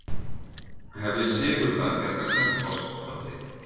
Hefði sigur þar bjargað Selfoss frá falli?